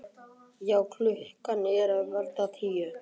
Já en. klukkan er að verða tíu!